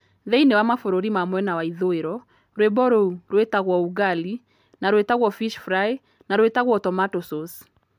Thĩinĩ wa mabũrũri ma mwena wa ithũĩro, rwĩmbo rũu rwĩtagwo ugali na rwĩtagwo fish fry na rwĩtagwo tomato sauce.